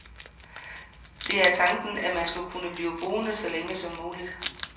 Det er tanken, at man skal kunne blive boende så længe som muligt.